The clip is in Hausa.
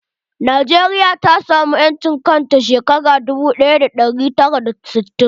Najeriya ta samu 'yancin kan ta shekara dubu ɗaya da ɗari tara da sittin.